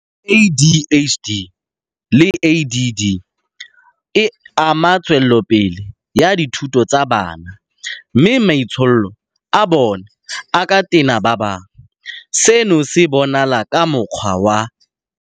ADHD le ADD e ama tswelopele ya dithuto tsa bana mme maitsholo a bona a ka tena ba bangwe. Seno se bonala ka mokgwa wa.